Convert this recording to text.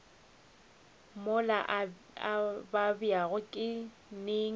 mola a babjago ke neng